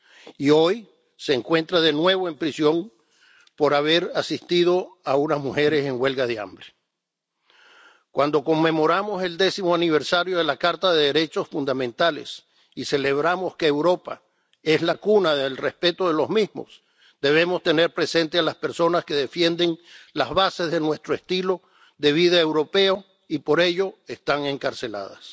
Y hoy se encuentra de nuevo en prisión por haber asistido a unas mujeres en huelga de hambre. Cuando conmemoramos el décimo aniversario de la Carta de los Derechos Fundamentales y celebramos que Europa es la cuna del respeto de los mismos, debemos tener presentes a las personas que defienden las bases de nuestro estilo de vida europeo y por ello están encarceladas.